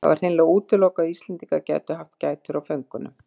Það var hreinlega útilokað að Íslendingar gætu haft gætur á föngunum.